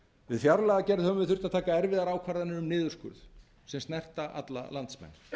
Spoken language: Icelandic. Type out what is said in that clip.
við fjárlagagerð höfum við þurft að taka erfiðar ákvarðanir um niðurskurð sem snerta alla landsmenn